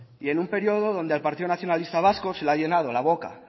y en un periodo donde al partido nacionalista vasco se le ha llenado la boca